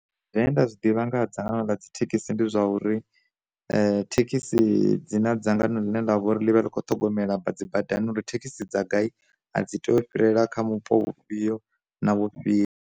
Zwine nda zwi ḓivha nga dzangano ḽa dzi thekhisi ndi zwa uri, thekhisi dzi na dzangano ḽine ḽa vha uri ḽi vha ḽi kho ṱhogomela bazi badani uri thekhisi dza gai a dzi tei u fhirela kha vhupo vhufhio na vhufhio.